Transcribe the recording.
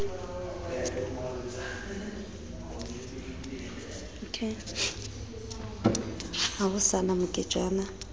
ha ho sa na moketjana